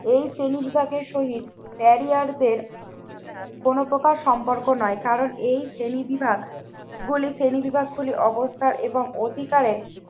এই শ্রেণীবিভাগের সহিত ক্যারিয়ারদের কোন প্রকার সম্পর্ক নয় কারণ এই শ্রেণী বিভাগগুলি শ্রেণীবিভাগ গুলি অবস্থা এবং অধিকারে